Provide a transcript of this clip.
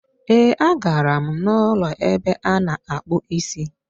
Ee, a gara m n'ụlọ ebe a na-akpụ isi.